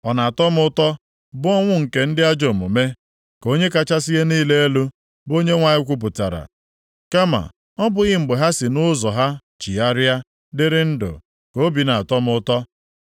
Ọ na-atọ m ụtọ bụ ọnwụ nke ndị ajọ omume? Ka Onye kachasị ihe niile elu, bụ Onyenwe anyị kwupụtara. Kama, ọ bụghị mgbe ha si nʼụzọ ha chigharịa, dịrị ndụ, ka obi na-atọ m ụtọ?